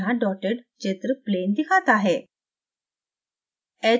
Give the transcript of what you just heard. यहाँ dotted चित्र plane दिखाता है